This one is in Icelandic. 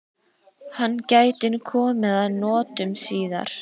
Hann gæti komið að notum síðar.